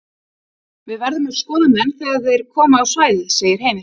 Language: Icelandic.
Við verðum að skoða menn þegar þeir koma á svæðið segir Heimir.